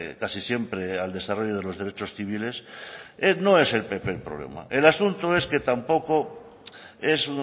casi siempre al desarrollo de los derechos civiles no es el pp el problema el asunto es que tampoco es